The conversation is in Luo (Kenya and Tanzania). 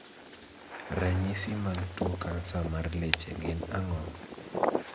Ranyisi mag tuo kansa mar leche gin ang'o?